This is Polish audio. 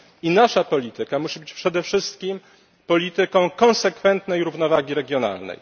I nasza polityka musi być przede wszystkim polityką konsekwentnej równowagi regionalnej.